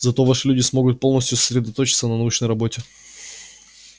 зато ваши люди смогут полностью сосредоточиться на научной работе